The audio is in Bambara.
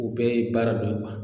Obɛɛ ye baara dɔn kuwa